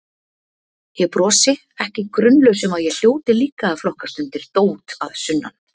Ég brosi, ekki grunlaus um að ég hljóti líka að flokkast undir dót að sunnan.